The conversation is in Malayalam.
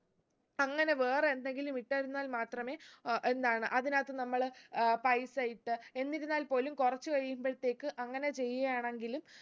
അങ്ങനെ വേറെ എന്തെങ്കിലും ഇട്ടാരുന്നാൽ മാത്രമേ ഏർ എന്താണ് അതിനകത്ത് നമ്മള് ഏർ പൈസ ഇട്ട് എന്തിരുന്നാൽ പോലും കുറച്ച് കഴിയുമ്പോൾത്തേക്ക് അങ്ങനെ ചെയ്യുകയാണെങ്കില്